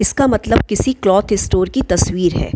इसका मतलब किसी क्लोथ स्टोर की तस्वीर है।